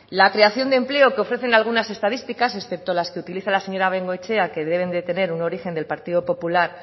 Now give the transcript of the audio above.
la creación de empleo que ofrece algunas estadísticas excepto las que utiliza la señora bengoechea que deben de tener un origen del partido popular